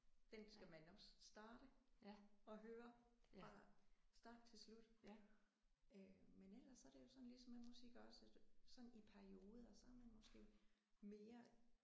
Den skal man også starte og høre fra start til slut øh men ellers så er det jo sådan ligesom med musik også at sådan i perioder så er man måske mere